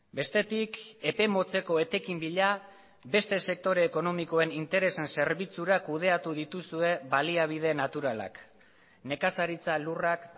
bestetik epe motzeko etekin bila beste sektore ekonomikoen interesen zerbitzura kudeatu dituzue baliabide naturalak nekazaritza lurrak